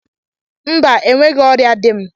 Mba, enweghị ọrịa dị m